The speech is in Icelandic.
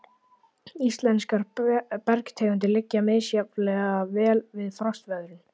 Íslenskar bergtegundir liggja misjafnlega vel við frostveðrun.